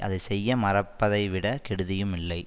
அதை செய்ய மறப்பதைவிட கெடுதியும் இல்லை